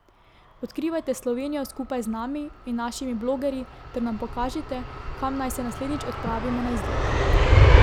Odkrivajte Slovenijo skupaj z nami in našimi blogerji ter nam pokažite, kam naj se naslednjič odpravimo na izlet.